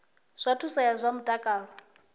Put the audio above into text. zwa thuso ya zwa mutakalo